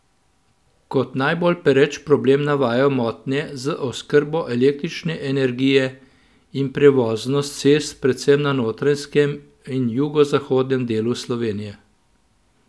Kot najbolj pereč problem navajajo motnje z oskrbo električne energije in prevoznost cest predvsem na Notranjskem in v jugozahodnem delu Slovenije.